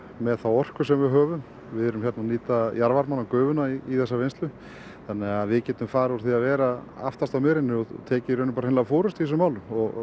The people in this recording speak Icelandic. með þá orku sem við höfum við erum að nýta jarðvarmann og gufuna í þessa vinnslu þannig að við getum farið úr því að vera aftast á merinni og tekið hreinlega forystu í þessum málum